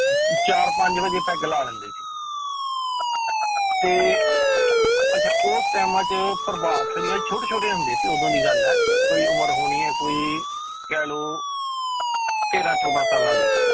ਚਾਰ ਪੰਜ ਵਜੇ ਪੈਗ ਲਾ ਲੈਂਦੇ ਸੀ ਤੇ ਅੱਛਾ ਉਸ ਟਾਇਮਾਂ 'ਚ ਪ੍ਰਭਾਤ ਫੇਰੀਆਂ ਛੋਟੀ ਛੋਟੀਆਂ ਹੁੰਦੀਆਂ ਸੀ ਉਦੋਂ ਦੀ ਗੱਲ ਹੈ ਕੋਈ ਉਮਰ ਹੋਣੀ ਹੈ ਕੋਈ ਕਹਿ ਲਓ ਤੇਰਾਂ ਚੋਦਾਂ ਸਾਲਾਂ ਦੀ,